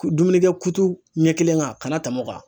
Dumunikɛ kutu ɲɛ kelen kan'a tɛmɛ o kan.